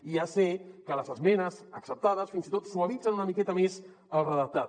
i ja sé que les esmenes acceptades fins i tot suavitzen una miqueta més el redactat